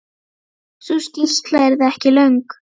Sú skýrsla yrði ekki löng.